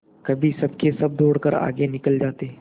कभी सबके सब दौड़कर आगे निकल जाते